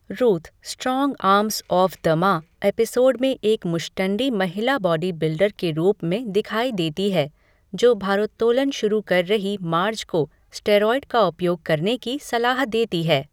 Ruth "Strong Arms of the Ma" episode में एक मुश्टंडी महिला बॉडी बिल्डर के रूप में दिखाई देती है, जो भारोत्तोलन शुरू कर रही मार्ज को स्टेरॉयड का उपयोग करने की सलाह देती है।